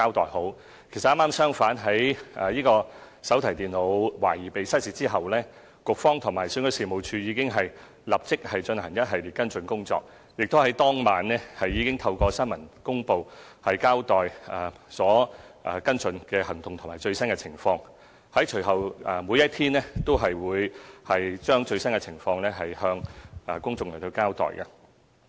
剛好相反，在手提電腦懷疑失竊後，局方和選舉事務處已經立即進行一系列跟進工作，在當晚亦已透過新聞公報交代跟進行動及最新情況，隨後每一天都將最新情況向公眾交代。